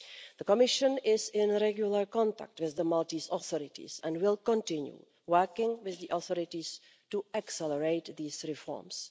The Commission is in regular contact with the Maltese authorities and will continue working with the authorities to accelerate these reforms.